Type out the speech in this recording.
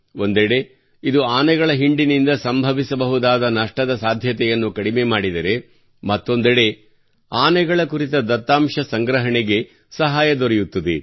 ಒಂದೆಡೆ ಇದು ಆನೆಗಳ ಹಿಂಡಿನಿಂದ ಸಂಭವಿಸಬಹುದಾದ ನಷ್ಟದ ಸಾಧ್ಯತೆಯನ್ನು ಕಡಿಮೆ ಮಾಡಿದರೆ ಮತ್ತೊಂದೆಡೆ ಆನೆಗಳ ಕುರಿತ ದತ್ತಾಂಶ ಸಂಗ್ರಹಣೆಗೆ ಸಹಾಯ ದೊರೆಯುತ್ತದೆ